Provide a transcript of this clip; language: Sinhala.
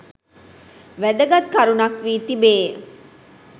වැදගත් කරුණක් වී තිබේ.